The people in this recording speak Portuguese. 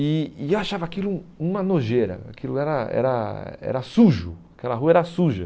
E e eu achava aquilo uma nojeira, aquilo era era era sujo, aquela rua era suja.